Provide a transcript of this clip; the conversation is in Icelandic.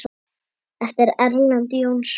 eftir Erlend Jónsson